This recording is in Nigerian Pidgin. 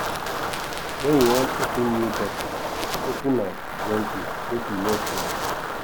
when you wan open new bottle open am gently make e no splash